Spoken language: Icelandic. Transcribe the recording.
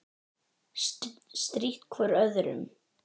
Strítt hvor öðrum.